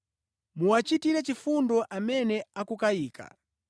Muwachitire chifundo amene akukayika.